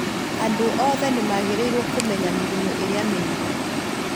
Andũ othe nĩ magĩrĩirũo kũmenya mĩrimũ ĩrĩa mĩingĩ.